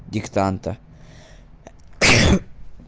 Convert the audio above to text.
диктанта